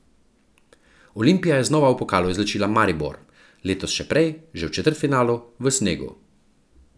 Olimpija je znova v pokalu izločila Maribor, letos še prej, že v četrtfinalu, v snegu.